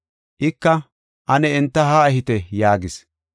Ika, “Ane enta haa ehite” yaagis.